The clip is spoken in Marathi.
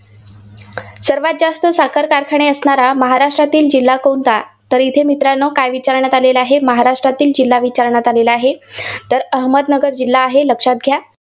सर्वांत जास्त साखर कारखाने असणारा महाराष्ट्रातील जिल्हा कोणता? तर इथे मित्रांनो काय विचारण्यात आलेले आहे, महाराष्ट्रातील जिल्हा विचारण्यात आला आहे. तर अहमदनगर जिल्हा आहे लक्षात घ्या.